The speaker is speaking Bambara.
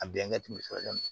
A bɛnkɛ tun bɛ sɔrɔ yen nɔ